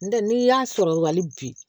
N tɛ n'i y'a sɔrɔ hali bi